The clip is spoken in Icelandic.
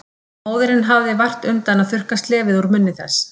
Og móðirin hafði vart undan að þurrka slefið úr munni þess.